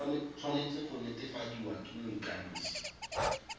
tshwanetse go netefadiwa ke moikanisi